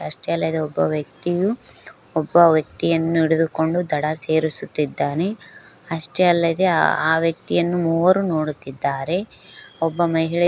ಅಷ್ಟೇ ಅಲ್ಲದೆ ಒಬ್ಬ ವ್ಯಕ್ತಿಯು ಒಬ್ಬ ವ್ಯಕ್ತಿಯನ್ನು ಹಿಡಿದುಕೊಂಡು ದಡಾ ಸೇರಿಸುತ್ತಿದ್ದಾನೆ ಅಷ್ಟೇ ಅಲ್ಲದೆ ಆ ವ್ಯಕ್ತಿಯನ್ನು ಮೂವರು ನೋಡುತ್ತಿದ್ದಾರೆ ಒಬ್ಬ ಮಹಿಳೆ --